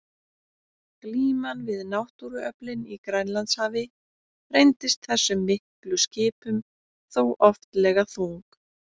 Glíman við náttúruöflin í Grænlandshafi reyndist þessum miklu skipum þó oftlega þung.